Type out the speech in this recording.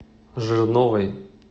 жирновой